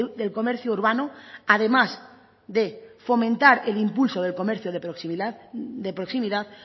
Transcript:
del comercio urbano además de fomentar el impulso del comercio de proximidad